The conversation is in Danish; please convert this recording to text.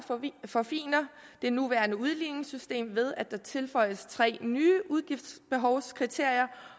forfiner det nuværende udligningssystem ved at der tilføjes tre nye udgiftsbehovskriterier